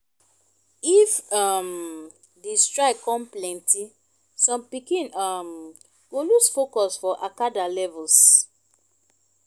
if um di strike kon plenti som pikin um go lose focus for acada levels